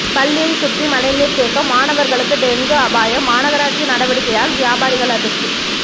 பள்ளியை சுற்றி மழைநீர் தேக்கம் மாணவர்களுக்கு டெங்கு அபாயம் மாநகராட்சி நடவடிக்கையால் வியாபாரிகள் அதிர்ச்சி